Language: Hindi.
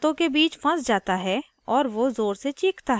ramu नाश्ता करता है